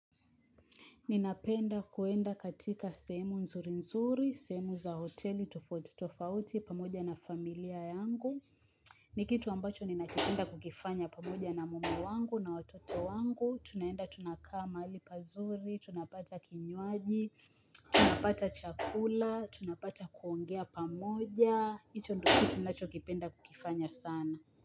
Ninapenda kuenda katika sehemu nzuri nzuri, semu za hoteli tofauti tofauti pamoja na familia yangu. Ni kitu ambacho ninakipenda kukifanya pamoja na mume wangu na watoto wangu. Tunaenda tunakaa mahali pazuri, tunapata kinywaji, tunapata chakula, tunapata kuongea pamoja. Hicho ndio kitu ninacho kipenda kukifanya sana.